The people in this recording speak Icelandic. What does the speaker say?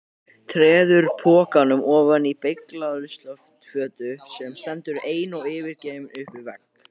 Treður pokanum ofan í beyglaða ruslafötu sem stendur ein og yfirgefin upp við vegg.